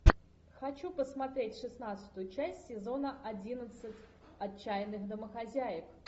хочу посмотреть шестнадцатую часть сезона одиннадцать отчаянных домохозяек